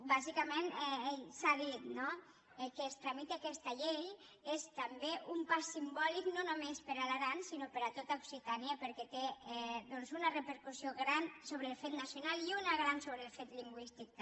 bàsicament s’ha dit no que es tramiti aquesta llei és també un pas simbòlic no només per a l’aran sinó per a tot occitània perquè té una repercussió gran sobre el fet nacional i una de gran sobre el fet lingüístic també